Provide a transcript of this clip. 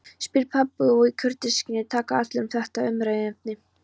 spyr pabbi og í kurteisisskyni taka allir upp þetta umræðuefni